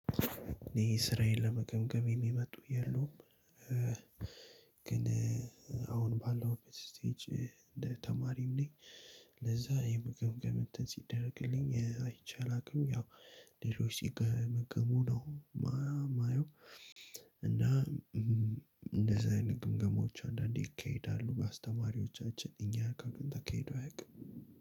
እኔ ስራዬን ለመገምገም የሚመጡ የሉም። ግን አሁን ባለሁበት ስቴጅ ተማሪም ነኝ። ለዛም ግምገማ ሲደረግልኝ አይቼ አላውቅም። ሌሎች ሲገመገሙ ነው የማዬው። እና እንደዛ አይነት ግምገማዎች አንዳንዴ ይካሄዳሉ በአስተማሪዎቻችን እኛ ጋ ግን ተካሂዶ አያውቅም።